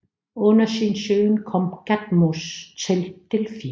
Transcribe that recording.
Under sin søgen kom Kadmos til Delfi